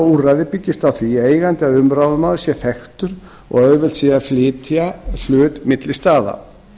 úrræði byggist á því að eigandi eða umráðamaður sé þekktur og að auðvelt sé að flytja hlut milli staða